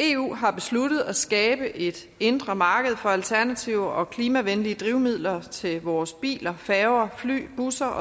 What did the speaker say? eu har besluttet at skabe et indre marked for alternative og klimavenlige drivmidler til vores biler færger fly busser